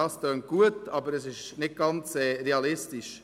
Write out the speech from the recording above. Dies tönt gut, aber es ist nicht ganz realistisch.